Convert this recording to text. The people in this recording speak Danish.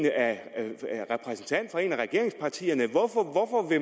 repræsentant for et af regeringspartierne hvorfor